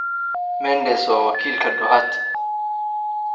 Mendes waa wakiilka Doherty.